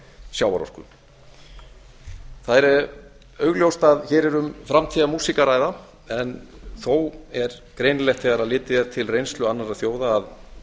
sjávarorku það er augljóst að hér er um framtíðarmúsík að ræða en þó er greinilegt þegar litið er til reynslu annarra þjóða